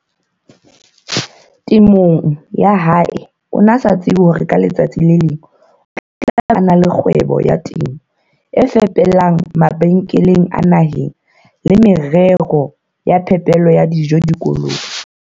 teng ya hae o ne a sa tsebe hore ka letsatsi le leng o tla be a e na le kgwebo ya temo e fepelang mabenkele a naheng le merero ya phepelo ya dijo dikolong.